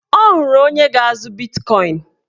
Ọ hụrụ onye ga-azụ bitkọin